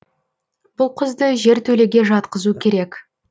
бұл қызды жертөлеге жатқызу керек